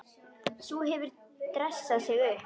Sú hefur dressað sig upp!